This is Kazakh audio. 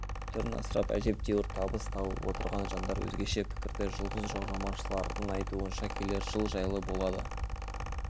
түрін асырап әжептәуір табыс тауып отырған жандар өзгеше пікірде жұлдызжорамалшылардың айтуынша келер жыл жайлы болады